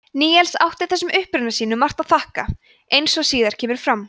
níels átti þessum uppruna sínum margt að þakka eins og síðar kemur fram